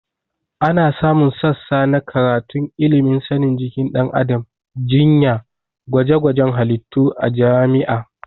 Ana samun sassa na karatun ilimin sanin jikin ɗan adam, jinya, gwajegwajen halittu a jami'a